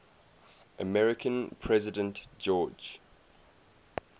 american president george